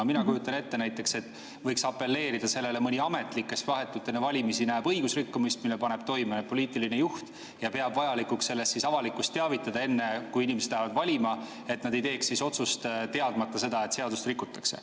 No mina kujutan ette, et võiks apelleerida sellele mõni ametnik, kes vahetult enne valimisi näeb õigusrikkumist, mille paneb toime poliitiline juht, ja peab vajalikuks sellest avalikkust teavitada, enne kui inimesed lähevad valima, et nad ei teeks otsust teadmata seda, et seadust rikutakse.